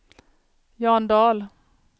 Jan Dahl